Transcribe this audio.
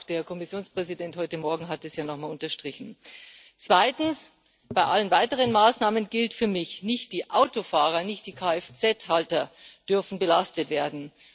Auch der Kommissionspräsident hat es heute morgen ja noch mal unterstrichen. Zweitens Bei allen weiteren Maßnahmen gilt für mich Nicht die Autofahrer, nicht die KFZ Halter dürfen belastet werden.